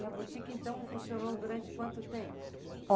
E a boutique, então, funcionou durante quanto tempo?